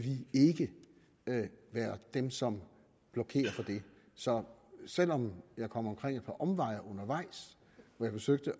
ikke være dem som blokerer for det så selv om jeg kom omkring et par omveje undervejs hvor jeg forsøgte